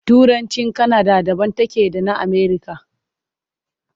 Turancin Kanada daban take da na Amerika.